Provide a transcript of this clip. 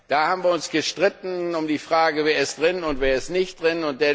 Da haben wir uns gestritten um die Frage Wer ist drin, und wer ist nicht drin?